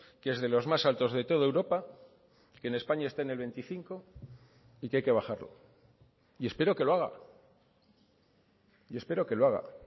que es de los más altos de toda europa que en españa está en el veinticinco y que hay que bajarlo y espero que lo haga y espero que lo haga